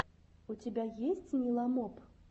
у тебя есть ниламоп